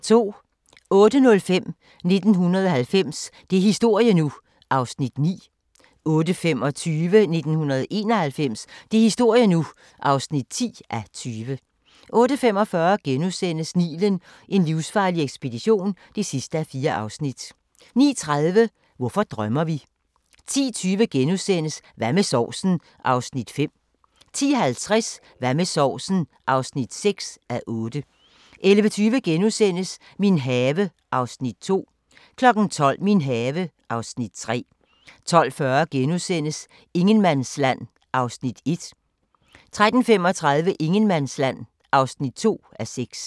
08:05: 1990 – det er historie nu! (9:20) 08:25: 1991 – det er historie nu! (10:20) 08:45: Nilen: en livsfarlig ekspedition (4:4)* 09:30: Hvorfor drømmer vi? 10:20: Hvad med sovsen? (5:8)* 10:50: Hvad med sovsen? (6:8) 11:20: Min have (Afs. 2)* 12:00: Min have (Afs. 3) 12:40: Ingenmandsland (1:6)* 13:35: Ingenmandsland (2:6)